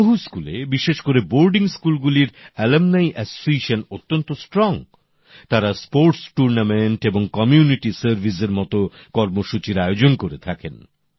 বহু স্কুলে বিশেষ করে বোর্ডিং স্কুলগুলির প্রাক্তনীদের সংগঠন অত্যন্ত সক্রিয় তাঁরা ক্রীড়ানুষ্ঠান এবং কমিউনিটি সার্ভিসের মতো কর্মসূচির আয়োজন করে থাকেন